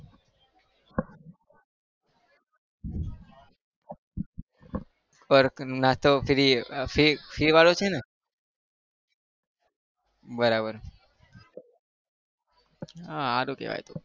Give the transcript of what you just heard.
free free વાળું છે ને? બરાબર આહ સારું કહેવાય.